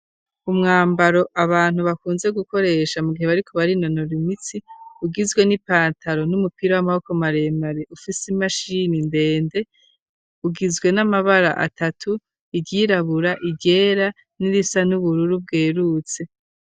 Umwambaro abantu bakunze gukoresha mu gihe bariko barinonoro imitsi, ugizwe n'ipantaro n'umupira w'amaboko maremare ufise imashimi ndende ugizwe n'amabara atatu, iryirabura, iryera, n'irisa n'ubururu bwerurutse.